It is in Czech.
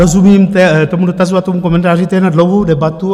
Rozumím tomu dotazu a tomu komentáři, to je na dlouhou debatu.